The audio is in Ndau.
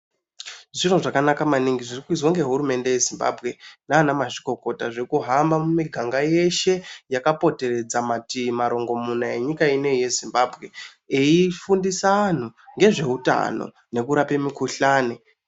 Zviro zvakanaka maningi zviri kuizwa ngehurumende yeZimbabwe nanamazvikokota zvekuhamba mumiganga yeshe yakapoteredza matiyi marongomuna enyika ineyi yeZimbabwe eifundisa anhu ngezveutano nokurape mikuhlane.